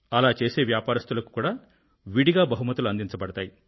అలా చేసే వ్యాపారస్తులకు కూడా విడిగా బహుమతులు అందించబడతాయి